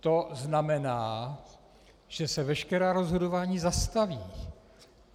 To znamená, že se veškerá rozhodování zastaví.